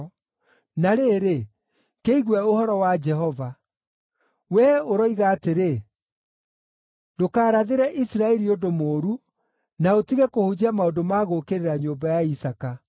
Na rĩrĩ, kĩigue ũhoro wa Jehova. Wee ũroiga atĩrĩ, “ ‘Ndũkarathĩre Isiraeli ũndũ mũũru, na ũtige kũhunjia maũndũ ma gũũkĩrĩra nyũmba ya Isaaka.’